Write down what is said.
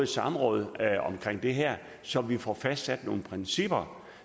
samråd om det her så vi får fastsat nogle principper